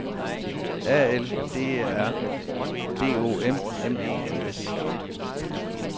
A L D E R D O M M E N S